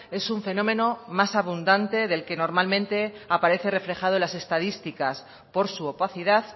es un fenómeno más abundante del que normalmente aparece reflejado en las estadísticas por su opacidad